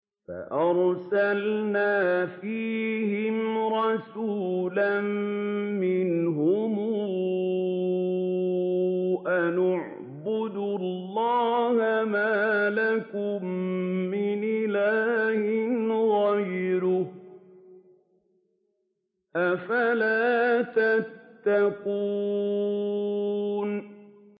فَأَرْسَلْنَا فِيهِمْ رَسُولًا مِّنْهُمْ أَنِ اعْبُدُوا اللَّهَ مَا لَكُم مِّنْ إِلَٰهٍ غَيْرُهُ ۖ أَفَلَا تَتَّقُونَ